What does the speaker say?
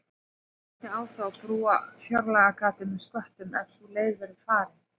Hvernig á þá að brúa fjárlagagatið með sköttum ef sú leið verður farin?